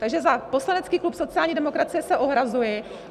Takže za poslanecký klub sociální demokracie se ohrazuji.